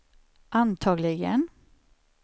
antagligen